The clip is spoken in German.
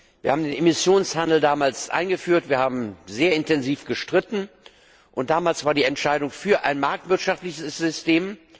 Wir haben den Emissionshandel damals eingeführt, wir haben sehr intensiv gestritten, und damals fiel die Entscheidung für ein marktwirtschaftliches System.